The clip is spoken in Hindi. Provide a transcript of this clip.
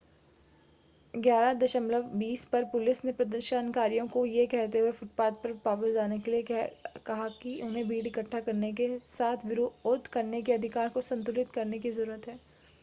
11:20 पर पुलिस ने प्रदर्शनकारियों को यह कहते हुए फ़ुटपाथ पर वापस जाने के लिए कहा कि उन्हें भीड़ इकट्ठा करने के साथ विरोध करने के अधिकार को संतुलित करने की ज़रूरत है